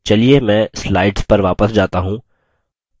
चलिए मैं slides पर वापस जाता हूँ